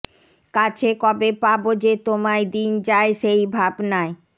কাছে কবে পাবো যে তোমায় দিন যায় সেই ভাবনায়